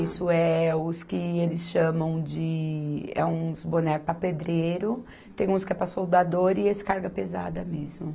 Isso, é os que eles chamam de... É uns bonés para pedreiro, tem uns que é para soldador e esse carga pesada mesmo.